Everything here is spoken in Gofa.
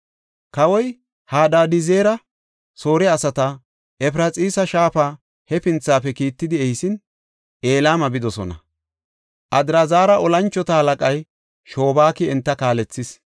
Kawoy Hadadizeri Soore asata Efraxiisa Shaafa hefinthafe kiittidi ehisin, Elama bidosona. Adraazara tora moconay Shobaaki enta kaalethees.